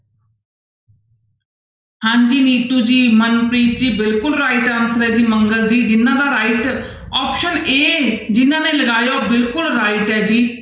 ਹਾਂਜੀ ਨੀਤੂੂ ਜੀ ਮਨਪ੍ਰੀਤ ਜੀ ਬਿਲਕੁਲ right answer ਹੈ ਜੀ ਜਿਹਨਾਂ ਦਾ right option a ਜਿਹਨਾਂ ਨੇ ਲਗਾਇਆ ਉਹ ਬਿਲਕੁਲ right ਹੈ ਜੀ।